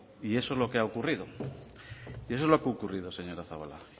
y eso es lo que ha ocurrido señora zabala